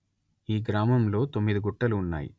ఈ గ్రామంలో తొమ్మిది గుట్టలు ఉన్నాయి